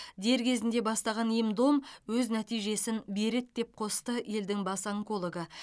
дер кезінде бастаған ем дом өз нәтижесін береді деп қосты елдің бас онкологы